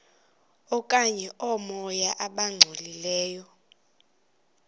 okanye oomoya abangcolileyo